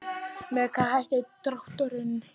Með hvaða hætti er drátturinn?